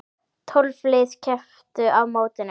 Tólf lið kepptu á mótinu.